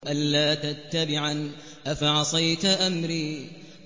أَلَّا تَتَّبِعَنِ ۖ أَفَعَصَيْتَ أَمْرِي